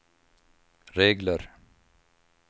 regler